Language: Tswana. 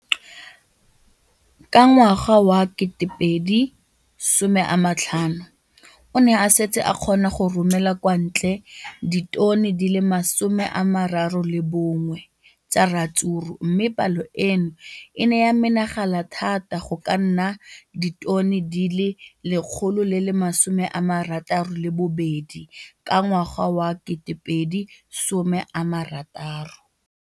Ka ngwaga wa 2015, o ne a setse a kgona go romela kwa ntle ditone di le 31 tsa ratsuru mme palo eno e ne ya menagana thata go ka nna ditone di le 168 ka ngwaga wa 2016.